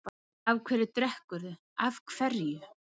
Af hverju drekkurðu, af hverju?